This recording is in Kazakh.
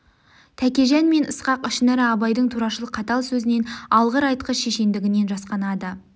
тәкежан мен ысқақ ішінара абайдың турашыл қатал сөзінен алғыр-айтқыш шешендігінен де жасқанады